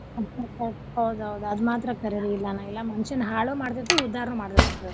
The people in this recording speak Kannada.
ಹೌದ್ ಹೌದ್ ಅದ್ ಮಾತ್ರ ಕರೇರಿ ಇಲ್ಲ ಮನಷ್ಯನ್ ಹಾಳು ಮಾಡ್ತೇತಿ ಉದ್ದಾರು ಮಾಡ್ತೇತಿ ಅದ.